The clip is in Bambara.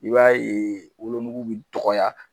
I b'a ye wolo nuku bi dɔgɔya.